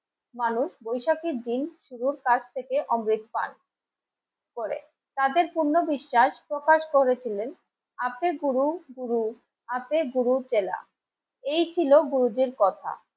মানুষ বৈশাখীর দিন শুধু কাছ থেকে অমৃত পান করে তাদের পূর্ণ বিশ্বাস প্রকাশ করেছিলেন আপনি গুরু, গুরু, আতে গুরুর চেলা এই ছিল গুরুজির কথা